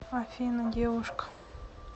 афина девушка